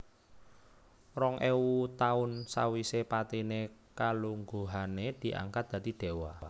Rong éwu taun sawisé patiné kalungguhané diangkat dadi déwa